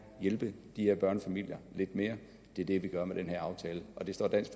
hjælpe de her børnefamilier lidt mere det er det vi gør med den her aftale og det står dansk